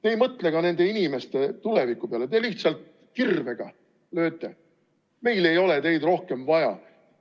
Te ei mõtle nende inimeste tuleviku peale, te lööte lihtsalt kirvega: meil ei ole teid rohkem vaja.